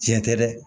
Tiɲɛ tɛ dɛ